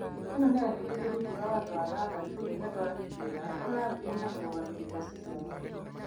ĩno nĩyandĩkĩtwo rungu rwa watho wa gandatũ, Ng'endo agĩtũĩra, ũrĩa wambĩrĩirie na mũrũgamĩrĩri wa studiũ ya watho.